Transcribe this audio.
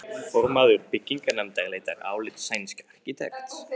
Formaður byggingarnefndar leitar álits sænsks arkitekts.